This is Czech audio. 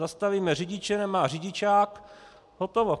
Zastavíme řidiče, nemá řidičák, hotovo.